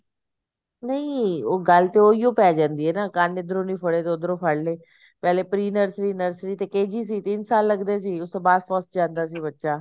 ਨਹੀਂ ਉਹ ਗੱਲ ਤਾਂ ਉਹੀਓ ਪੈ ਜਾਂਦੀ ਐ ਨਾ ਕੰਨ ਇਧਰੋ ਨੀ ਫੜਿਆ ਤਾਂ ਉਧਰੋਂ ਫੜ ਲਏ ਪਹਿਲੇ pre nursery nursery ਤੇ KG ਸੀ ਤਿੰਨ ਸਾਲ ਲੱਗਦੇ ਸੀ ਤੇ ਉਸ ਤੋਂ ਬਾਅਦ first ਚ ਜਾਂਦਾ ਸੀ ਬੱਚਾ